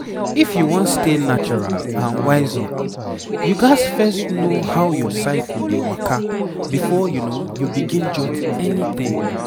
f you wan stay natural and wise up you gats first know how your cycle dey waka before you begin jot anything.